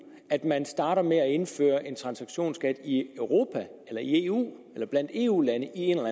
at man starter med at indføre en transaktionsskat i europa eller eu eller blandt eu lande i en